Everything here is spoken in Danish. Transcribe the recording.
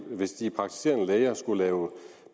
hvis de praktiserende læger skulle lave